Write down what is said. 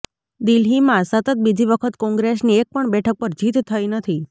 દિલ્હીમાં સતત બીજી વખત કોંગ્રેસની એક પણ બેઠક પર જીત થઇ નથી